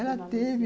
Ela teve...